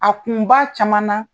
A kun b'a caman na